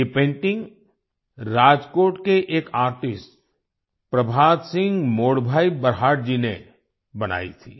ये पेंटिंग राजकोट के एक आर्टिस्ट प्रभात सिंग मोडभाई बरहाट जी ने बनाई थी